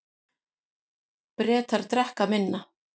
Bretar drekka minna